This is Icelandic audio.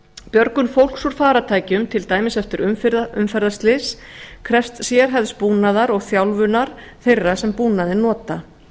björgun fólks úr farartækjum til dæmis eftir umferðarslys krefst sérhæfðs búnaðar og þjálfunar þeirra sem búnaðinn nota